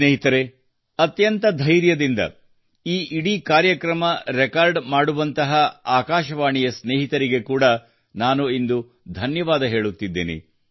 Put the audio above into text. ಸ್ನೇಹಿತರೇ ಅತ್ಯಂತ ಧೈರ್ಯದಿಂದ ಈ ಇಡೀ ಕಾರ್ಯಕ್ರಮ ರೆಕಾರ್ಡ್ ಮಾಡುವಂತಹ ಆಕಾಶವಾಣಿಯ ಸ್ನೇಹಿತರಿಗೆ ಕೂಡಾ ನಾನು ಇಂದು ಧನ್ಯವಾದ ಹೇಳುತ್ತಿದ್ದೇನೆ